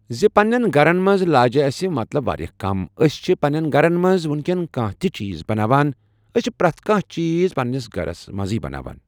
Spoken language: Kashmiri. زِ پَنٕنٮ۪ن گرن منٛز لاجہِ اسہِ مطلب واریاہ کم۔ أسۍچھِ پَنٕٮنٮ۪ن گرن منٛز وۄنکیٚن کانٛہہ تہِ چیٖز بَناوان ۔ ٲسۍ پریٚتھ کانٛہہ چیٖز پَنٕنِس گرس منٛزٕے بَناوان